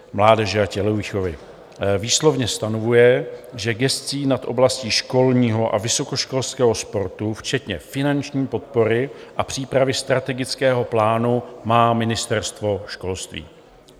Výslovně stanovuje, že gesci nad oblastí školního a vysokoškolského sportu včetně finanční podpory a přípravy strategického plánu má Ministerstvo školství.